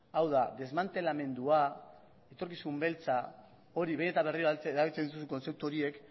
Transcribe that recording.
hau da desmantelamendua etorkizun beltza behin eta berriro erabiltzen dituzun kontzeptu horiek